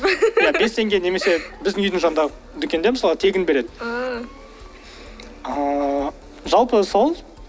ия бес теңге немесе біздің үйдің жанында дүкенде мысалы тегін береді ыыы жалпы сол